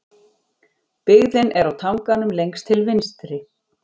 Byggðin er á tanganum lengst til vinstri.